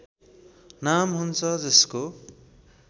नाम हुन्छ जसको